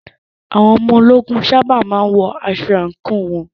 Àwọn ológun sábà má ń wọ aṣọ àǹkóò wọn.